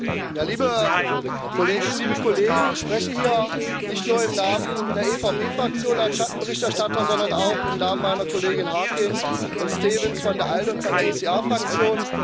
Herr Präsident, liebe Kolleginnen, liebe Kollegen! Ich spreche hier nicht nur im Namen der EVP Fraktion als Schattenberichterstatter, sondern auch im Namen meiner Kolleginnen Harkin und Stevens von der ALDE und von der ECR Fraktion.